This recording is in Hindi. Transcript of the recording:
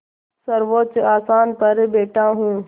सर्वोच्च आसन पर बैठा हूँ